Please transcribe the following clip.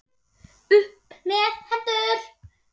Upp með hendur!